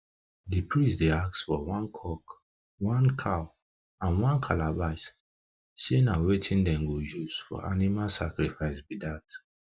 the priest dey ask for one cock one cow and one calabash say na wetin them go use for animal sacrifice be that